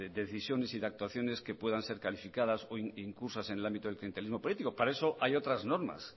decisiones y de actuaciones que puedan ser calificadas o incursas en el ámbito del clientelismo político para eso hay otras normas